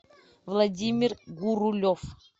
владимир гурулев